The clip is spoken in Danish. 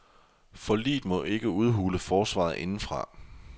Forliget må ikke udhule forsvaret indefra.